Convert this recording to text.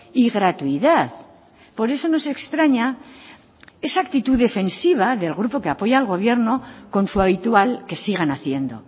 y gratuidad por eso nos extraña esa actitud defensiva del grupo que apoya al gobierno con su habitual que sigan haciendo